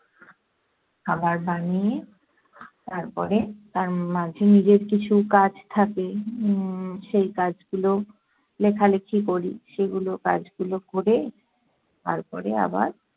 খাবার বানিয়ে তারপরে তার মাঝে নিজের কিছু কাজ থাকে। উম সেই কাজগুলো- লেখালেখি করি, সেগুলো কাজগুলো ক'রে তারপরে আবার